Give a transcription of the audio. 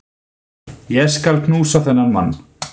Ég skal knúsa þennan mann!